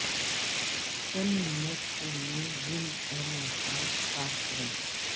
چند منٹ کے لئے جلد اور مساج صاف کریں